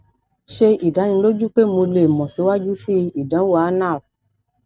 ṣe idaniloju pe mo le mọ siwaju sii idanwo anal